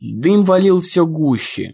дым валил все гуще